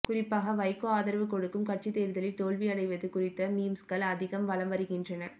குறிப்பாக வைகோ ஆதரவு கொடுக்கும் கட்சி தேர்தலில் தோல்வி அடைவது குறித்த மீம்ஸ்கள் அதிகம் வலம் வருகின்றன